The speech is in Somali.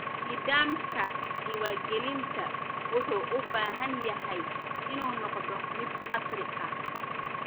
Nidaamka diiwaangelinta wuxuu u baahan yahay inuu noqdo mid casri ah.